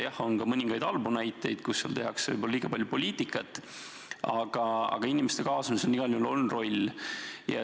Jah, on ka mõningaid halbu näiteid, kus võib-olla tehakse liiga palju poliitikat, aga inimeste kaasamisel igal juhul on roll.